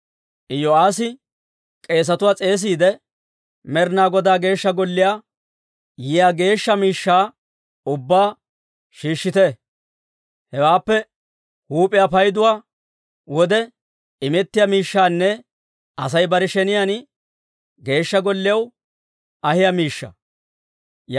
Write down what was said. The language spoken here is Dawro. Iyo'aassi k'eesetuwaa s'eesiide, «Med'ina Godaa Geeshsha Golliyaa yiyaa geeshsha miishshaa ubbaa shiishshite. Hewekka huup'iyaa payduwaa wode imettiyaa miishshaanne Asay bare sheniyaan Geeshsha Golliyaw ahiyaa miishshaa.